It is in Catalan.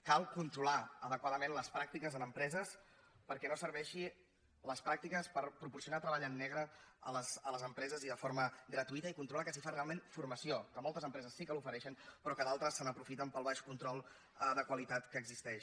cal controlar adequadament les pràctiques en empre·ses perquè no serveixin les pràctiques per proporci·onar treball en negre a les empreses i de forma gra·tuïta i controlar que s’hi fa realment formació que moltes empreses sí que l’ofereixen però que d’altres se n’aprofiten pel baix control de qualitat que existeix